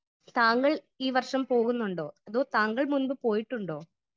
Speaker 1 താങ്കൾ ഈ വർഷം പോകുന്നുണ്ടോ? താങ്കൾ ഇതിന് മുമ്പ് പോയിട്ടുണ്ടോ ?